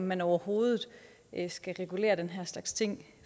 man overhovedet skal regulere den her slags ting